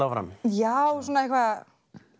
áfram já og svona eitthvað